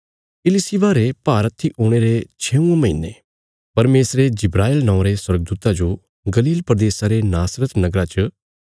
इलिशिबा रे भारहत्थी हुणे रे छेऊंये महीने परमेशरे जिब्राईल नौआं रे स्वर्गदूता जो गलील प्रदेशा रे नासरत नगरा च